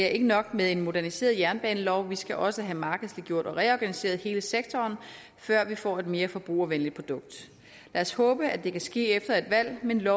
er nok med en moderniseret jernbanelov vi skal også have markedsliggjort og reorganiseret hele sektoren før vi får et mere forbrugervenligt produkt lad os håbe at det kan ske efter et valg men